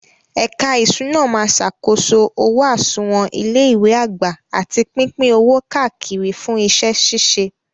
Ẹ̀ka ìṣúná máa ṣàkóso owó àsùnwọ̀n ilé ìwé àgbà àti pípín owó káàkiri fún iṣẹ́ ṣíṣe.